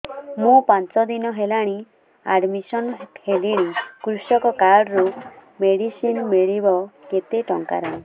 ମୁ ପାଞ୍ଚ ଦିନ ହେଲାଣି ଆଡ୍ମିଶନ ହେଲିଣି କୃଷକ କାର୍ଡ ରୁ ମେଡିସିନ ମିଳିବ କେତେ ଟଙ୍କାର